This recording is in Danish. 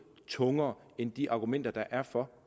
tungere end de argumenter der er for